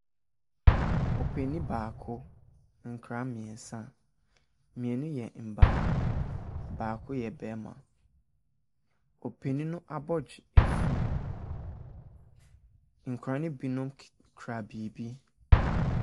Ɔpanin baako, nkwadaa mmeɛnsa. Mmienu yɛ mmaa, baako yɛ barima. Ɔpanin no abɔdwe afu. Nkwadaa no binom k kura biribi.